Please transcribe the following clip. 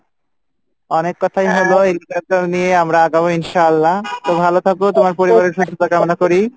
অনেক কথা হলো এবারে